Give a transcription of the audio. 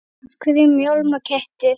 Af hverju mjálma kettir?